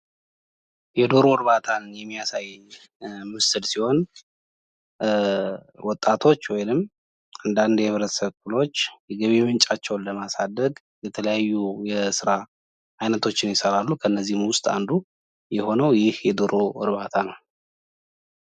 የኦንላይን ንግድና ኢ-ኮሜርስ የገበያውን ወሰን በማስፋትና ለሸማቾች ምቹ የግዢ አማራጮችን በመስጠት እያደገ ነው።